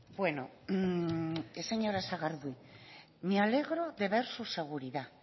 bueno señora sagardui me alegro de ver su seguridad